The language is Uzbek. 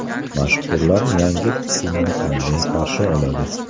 Mashhurlar yangi kunni qanday qarshi oladi?.